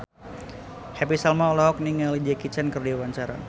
Happy Salma olohok ningali Jackie Chan keur diwawancara